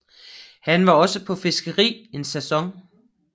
Han var også på fiskeri en sæson